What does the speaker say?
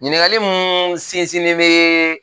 Ɲininkali mun sinsinnen bɛ